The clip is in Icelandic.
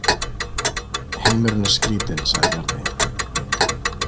Heimurinn er skrítinn, sagði Bjarni.